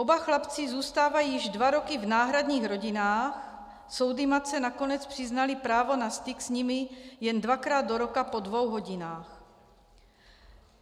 Oba chlapci zůstávají již dva roky v náhradních rodinách, soudy matce nakonec přiznaly právo na styk s nimi jen dvakrát do roka po dvou hodinách.